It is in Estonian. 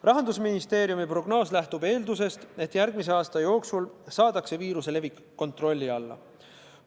Rahandusministeeriumi prognoos lähtub eeldusest, et järgmise aasta jooksul saadakse viiruse levik kontrolli alla.